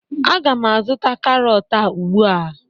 Agam azụta karọt a ugbu.